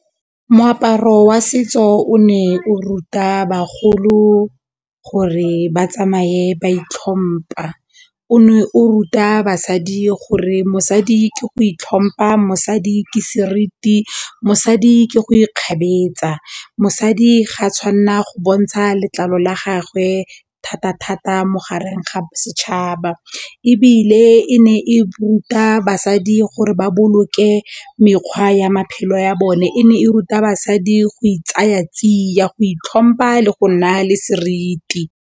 Moaparo wa setso o ne o ruta bagolo gore ba tsamaye ba itlhompa, o ne o ruta basadi gore mosadi ke go itlhompa mosadi ke seriti, mosadi ke go ikgabetsa, mosadi ga a tshwanna go bontsha letlalo la gagwe thata thata mo gareng ga bosetšhaba ebile e ne e ruta basadi gore ba boloke mekgwa ya maphelo ya bone, e ne e ruta basadi go e tsaya tsia, go itlhompha le go naya le seriti.